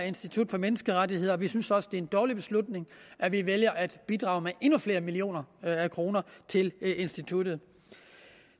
institut for menneskerettigheder og vi synes også at det er en dårlig beslutning at vi vælger at bidrage med endnu flere millioner af kroner til instituttet